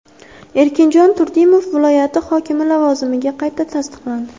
Erkinjon Turdimov viloyati hokimi lavozimiga qayta tasdiqlandi.